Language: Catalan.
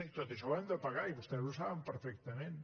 tot això ho hem de pagar i vostès ho saben perfectament